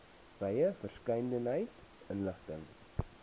wye verskeidenheid inligting